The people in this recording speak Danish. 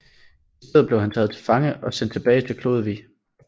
I stedet blev han taget til fange og sendt tilbage til Klodevig